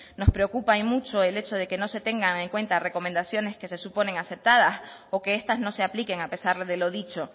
nos preocupa y mucho el hecho de que no se tengan en cuenta recomendaciones que se suponen aceptadas o que estas no se apliquen a pesar de lo dicho